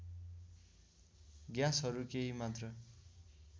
ग्याँसहरू केही मात्रा